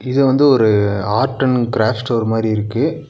இது வந்து ஒரு அர்ட் அண்ட் கிராஃப்ட் ஸ்டோர் மாரி இருக்கு.